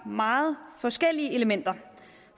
meget forskellige elementer